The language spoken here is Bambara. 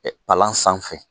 palan sanfɛ.